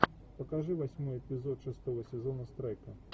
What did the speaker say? покажи восьмой эпизод шестого сезона страйка